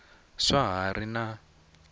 swa ha ri na n